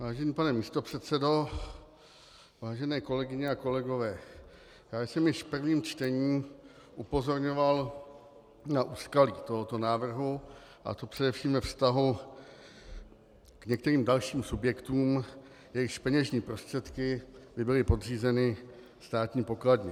Vážený pane místopředsedo, vážené kolegyně a kolegové, já jsem již v prvním čtení upozorňoval na úskalí tohoto návrhu, a to především ve vztahu k některým dalším subjektům, jejichž peněžní prostředky by byly podřízeny státní pokladně.